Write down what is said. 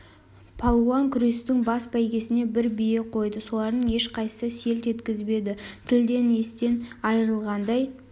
палуан күрестің бас бәйгесіне бір бие қойды солардың ешқайсысы селт еткізбеді тілден естен айрылғандай